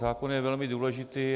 Zákon je velmi důležitý.